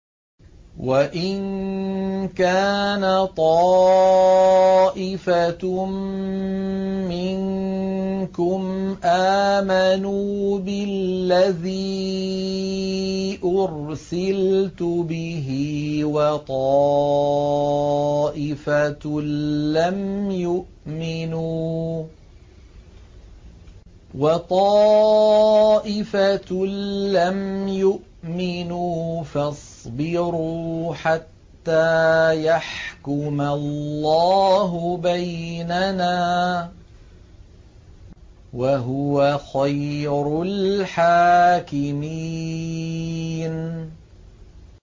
وَإِن كَانَ طَائِفَةٌ مِّنكُمْ آمَنُوا بِالَّذِي أُرْسِلْتُ بِهِ وَطَائِفَةٌ لَّمْ يُؤْمِنُوا فَاصْبِرُوا حَتَّىٰ يَحْكُمَ اللَّهُ بَيْنَنَا ۚ وَهُوَ خَيْرُ الْحَاكِمِينَ